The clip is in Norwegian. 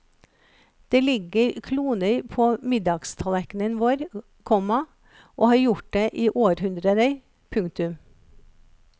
Det ligger kloner på middagstallerknene våre, komma og har gjort det i århundrer. punktum